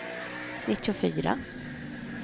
nittiofyra